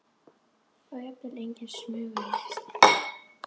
Það var jafnvel engin smuga í lestinni.